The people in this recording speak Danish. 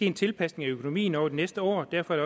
en tilpasning af økonomien over de næste år derfor er